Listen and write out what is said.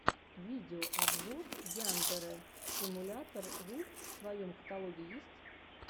видеообзор яндэрэ симулятор ру в твоем каталоге есть